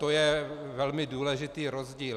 To je velmi důležitý rozdíl.